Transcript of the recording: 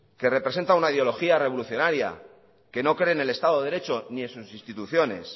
que representa una ideología revolucionaria que no cree en el estado de derecho ni en sustituciones